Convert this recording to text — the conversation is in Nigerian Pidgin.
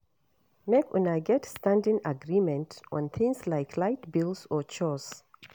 Make una get standing agreement on things like light bill or chores